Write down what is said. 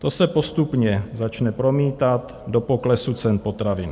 To se postupně začne promítat do poklesu cen potravin.